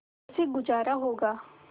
कैसे गुजारा होगा